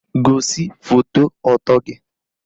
Gosi foto ọtọ gị!